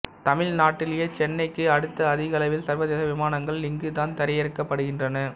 தமிழ்நாட்டிலேயே சென்னை க்கு அடுத்த அதிகளவில் சர்வதேச விமானங்கள் இங்கு தான் தரையிரக்கப்படுகின்றன